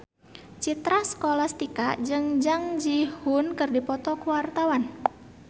Citra Scholastika jeung Jung Ji Hoon keur dipoto ku wartawan